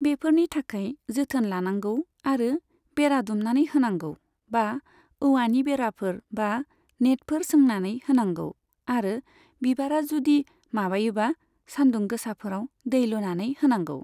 बेफोरनि थाखाय जोथोन लानांगौ, आरो बेरा दुमनानै होनांगौ बा औवानि बेराफोर, बा नेटफोर सोंनानै होनांगौ, आरो बिबारा जुदि माबायोबा सानदुं गोसाफोराव दै लुनानै होनांगौ।